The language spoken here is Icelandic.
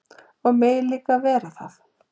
Og mega líka vera það.